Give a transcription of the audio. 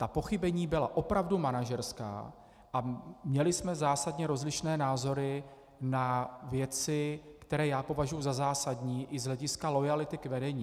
Ta pochybení byla opravdu manažerská a měli jsme zásadně rozlišné názory na věci, které já považuji za zásadní i z hlediska loajality k vedení.